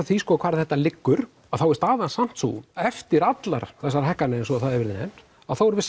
því hvar þetta liggur þá er staðan samt sú eftir allar þessar hagganir eins og það hefur verið nefnd þá erum við